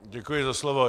Děkuji za slovo.